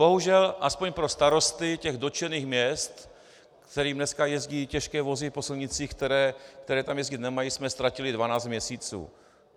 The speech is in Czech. Bohužel aspoň pro starosty těch dotčených měst, kterým dneska jezdí těžké vozy po silnicích, které tam jezdit nemají, jsme ztratili 12 měsíců.